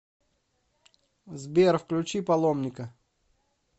сбер включи паломника